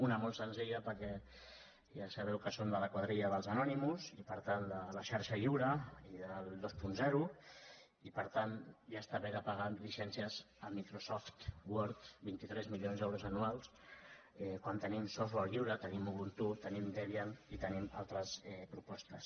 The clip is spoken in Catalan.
una molt senzilla perquè ja sabeu que som de la quadrilla dels anonymous i per tant de la xarxa lliure i del vint i per tant ja està bé de pagar llicències a microsoft word vint tres milions d’euros anuals quan tenim softwaretenim debian i tenim altres propostes